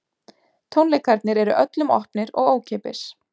Tónleikarnir eru öllum opnir og ókeypis